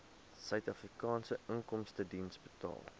suidafrikaanse inkomstediens betaal